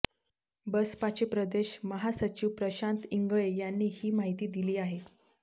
बसपाचे प्रदेश महासचिव प्रशांत इंगळे यांनी ही माहिती दिली आहे